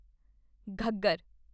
Ghaggar